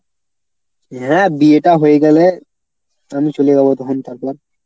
হ্যাঁ বিয়েটা হয়ে গেলে আমি চলে যাব তখন তারপর।